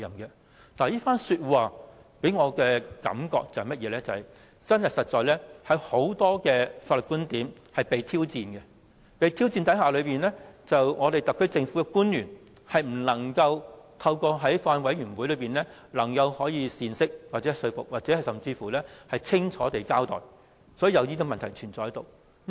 這番說話給我的感覺是，真的有很多法律觀點備受挑戰，面對這些挑戰，特區政府的官員卻未能透過法案委員會作出解釋、說服公眾，清楚交代，才會出現這些問題。